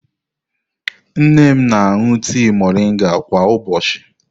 Nne m na-aṅụ tii moringa kwa ụbọchị.